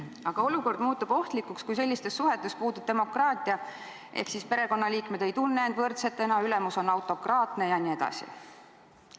Aga olukord muutub ohtlikuks, kui sellistes suhetes puudub demokraatia ehk siis perekonnaliikmed ei tunne end võrdsetena, ülemus on autokraatne jne.